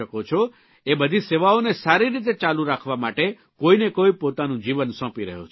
એ બધી સેવાઓને સારી રીતે ચાલુ રાખવા માટે કોઇને કોઇ પોતાનું જીવન સોંપી રહ્યો છે